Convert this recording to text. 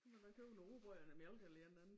Må man købe noget rugbrød eller mælk eller et eller andet